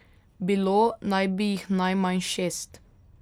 Bilo naj bi jih najmanj šest.